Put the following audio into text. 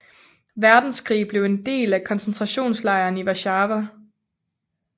Verdenskrig blev en del af koncentrationslejren i Warszawa